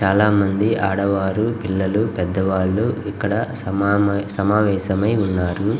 చాలా మంది ఆడవారు పిల్లలు పెద్దలు ఇక్కడ సమావేశమై ఉన్నారు.